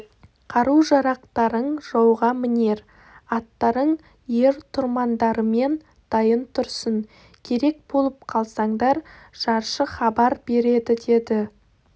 қару-жарақтарың жауға мінер аттарың ер-тұрмандарымен дайын тұрсын керек болып қалсаңдар жаршы хабар бередідеді